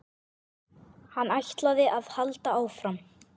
Hann ætlaði að halda áfram.